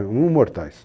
Imortais.